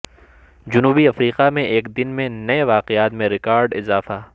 جنوبی افریقہ میں ایک دن میں نئے واقعات میں ریکارڈ اضافہ